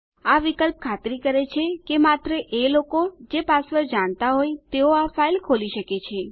આ વિકલ્પ ખાતરી કરે છે કે માત્ર એ લોકો જે પાસવર્ડ જાણતા હોય તેઓ આ ફાઇલ ખોલી શકે છે